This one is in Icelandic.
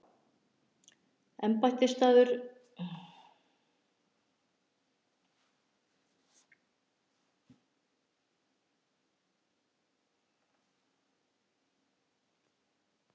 Embættisbústaður forseta er að Bessastöðum á Álftanesi.